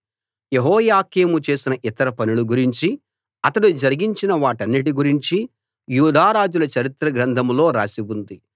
యెహోయాకీము చేసిన ఇతర పనుల గురించి అతడు జరిగించిన వాటన్నిటి గురించి యూదారాజుల చరిత్ర గ్రంథంలో రాసి ఉంది